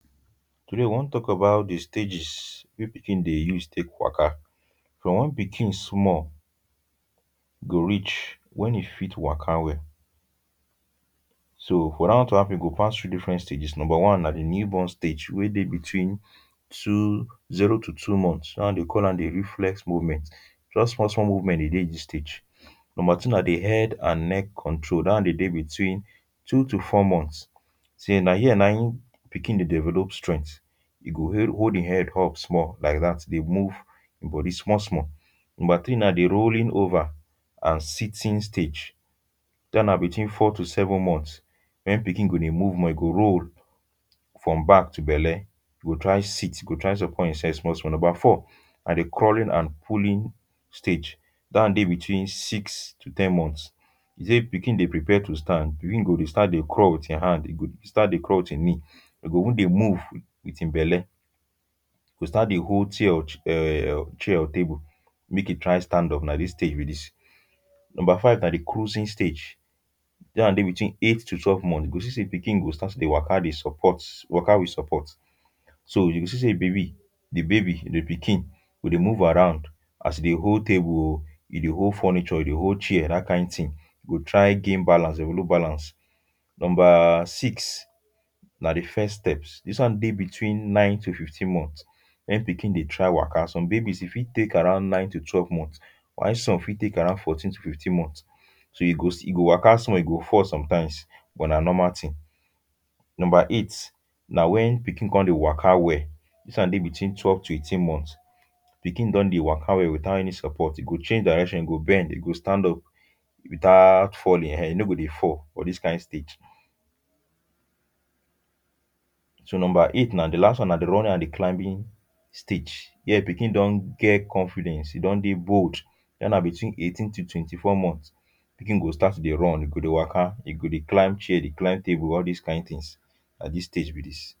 Today, we wan talk about di stages wey pikin dey use take waka; from when pikin small go reach when e fit waka well. So for dat one to happen, e go pass through different stages. Number one na di newborn stage wey dey between two zero to two months; dat one dey call am di reflex movements. Just small small movements dey dey dis stage. Number two na di head and neck control. Dat one dey dey between two to four months. Na here na im pikin dey develop strength. E go hold im head up small like dat dey move im body small small. Number three na di rolling over and sitting stage. Dat na between four to seven months. When pikin go dey move more, e go roll from back to belle. na di crawling and pulling stage. Dat one dey between six to ten months. If pikin dey prepare to stand, pikin go dey start to dey crawl with im hand, e go start dey crawl with im knee. E go even dey move with im belle. E go start dey hold tear um chair or table, make e try standup. Na dis stage be dis. Number five na di cruising stage. Dat one dey between eight to twelve months. You go see say pikin go start to dey waka, dey support, waka with support. So, you go see say baby, di baby, di pikin go dey move around. As e dey hold table o, e dey hold furniture, e dey hold chair. Dat kain tin. E go try gain balance, develop balance. Number six, na di first steps. Dis one dey between nine to fifteen months, when pikin dey try waka. Some babies e fit take around nine to twelve months, why some e fit take around fourteen to fifteen months. So, e go se... e go waka small, e go fall sometimes, but na normal tin. Number eight, na when pikin come dey waka well. Dis one dey between twelve to eighteen months. Pikin don dey waka well without any support. E go change direction, e go bend, e go stand up without falling um. E no go dey fall for dis kain stage. So number eight na di last one, na di running and di climbing stage. Here, pikin don get confidence. E don dey bold. Dat na between eighteen to twenty-four months. Pikin go start to dey run, e go dey waka, e go dey climb chair, dey climb table. All dis kain tins, na dis stage be dis.